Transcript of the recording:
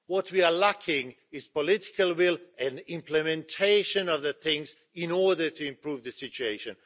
What we are lacking is political will and implementation of the things in order to improve the situation.